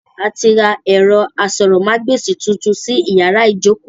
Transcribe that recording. A ti ra ẹ̀rọ asọ̀rọ̀mágb'èsì tuntun sí yàrá ìjókòó